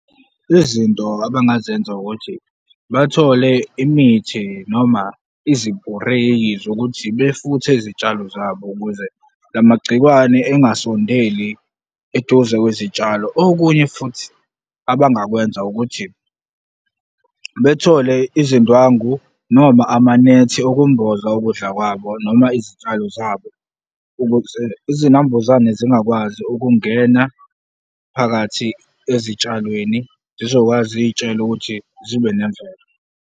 Izinto abangazenza ukuthi bathole imithi noma izipureyi zokuthi befuthe izitshalo zabo ukuze lamagciwane engasondeli eduze kwezitshalo. Okunye futhi abangakwenza ukuthi bethole izindwangu noma amanethi okumboza ukudla kwabo noma izitshalo zabo ukuze izinambuzane zingakwazi ukungena phakathi ezitshalweni, zizokwazi izitshalo ukuthi zibe nemvelo.